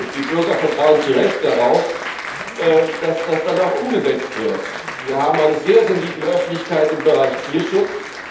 Die Bürger vertrauen zu Recht darauf, dass das auch umgesetzt wird. Wir haben eine sehr sensible Öffentlichkeit im Bereich Tierschutz.